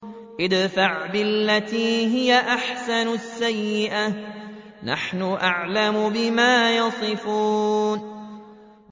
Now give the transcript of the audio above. ادْفَعْ بِالَّتِي هِيَ أَحْسَنُ السَّيِّئَةَ ۚ نَحْنُ أَعْلَمُ بِمَا يَصِفُونَ